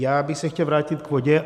Já bych se chtěl vrátit k vodě.